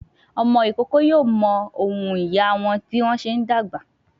Ọmọ ìkókó yóò mọ ohùn ìyá a wọn bí wọ́n bá ṣe ń dàgbà.